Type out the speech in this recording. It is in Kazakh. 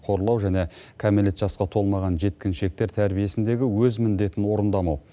қорлау және кәмелет жасқа толмаған жеткіншектер тәрбиесіндегі өз міндетін орындамау